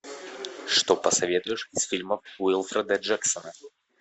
что посоветуешь из фильмов уилфреда джексона